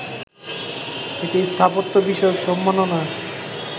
একটি স্থাপত্য বিষয়ক সম্মাননা